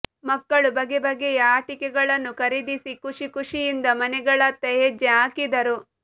ಮಕ್ಕಳು ಬಗೆ ಬಗೆಯ ಆಟಿಕೆಗಳನ್ನು ಖರೀದಿಸಿ ಖುಷಿ ಖುಷಿಯಿಂದ ಮನೆಗಳತ್ತ ಹೆಜ್ಜೆ ಹಾಕಿದರು